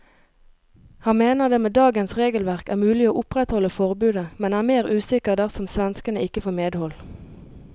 Han mener det med dagens regelverk er mulig å opprettholde forbudet, men er mer usikker dersom svenskene ikke får medhold.